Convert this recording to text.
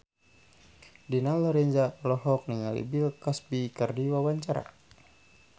Dina Lorenza olohok ningali Bill Cosby keur diwawancara